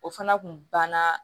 O fana kun banna